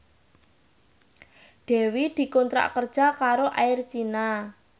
Dewi dikontrak kerja karo Air China